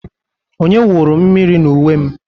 Onye wụrụ mmiri n'uwe m?